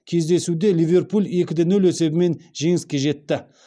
кездесуде ливерпуль екі де нөл есебімен жеңіске жетті